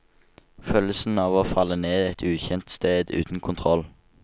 Følelsen av å falle ned et ukjent sted, uten kontroll.